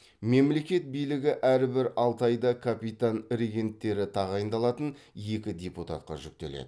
мемлекет билігі әрбір алты айда капитан регенттері тағайындалатын екі депутатқа жүктеледі